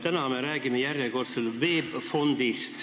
Täna me räägime järjekordselt VEB Fondist.